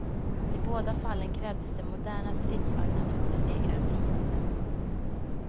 I båda fallen krävdes det moderna stridsvagnar för att besegra en fiende.